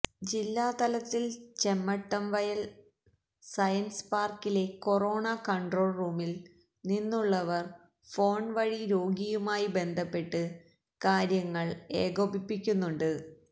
ജില്ലാതലത്തില് Chemmattamvayal science പാര്ക്കിലെ corona control റൂമില് നിന്നുള്ളവര് ഫോണ് വഴി രോഗിയുമായി ബന്ധപ്പെട്ട് കാര്യങ്ങള് ഏകോപിപ്പിക്കുന്നുണ്ട്